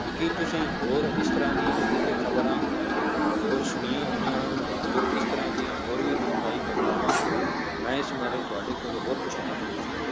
ਕੀ ਤੁਸੀਂ ਹੋਰ ਇਸ ਤਰ੍ਹਾਂ ਦੀਆਂ ਕਿਤੇ ਖ਼ਬਰਾਂ ਹੋਰ ਸੁਣੀਆਂ ਹੋਈਆਂ ਹਨ ਜੋ ਇਸ ਤਰ੍ਹਾਂ ਦੀਆਂ ਹੋਰ ਵੀ ਦੁਖਦਾਈ ਘਟਨਾਵਾਂ ਹਨ, ਮੈਂ ਇਸ ਬਾਰੇ ਤੁਹਾਡੇ ਕੋਲੋਂ ਹੋਰ ਪੁੱਛਣਾ ਚਾਹੁੰਦਾ ਹਾਂ